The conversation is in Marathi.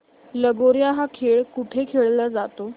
लगोर्या हा खेळ कुठे खेळला जातो